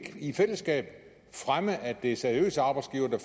i fællesskab fremme at det er seriøse arbejdsgivere der